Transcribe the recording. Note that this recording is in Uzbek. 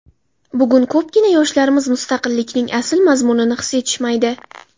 Bugun ko‘pgina yoshlarimiz mustaqillikning asl mazmunini his etishmaydi.